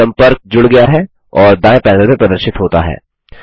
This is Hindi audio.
सम्पर्क जुड़ गया है और दायें पैनल में प्रदर्शित होता है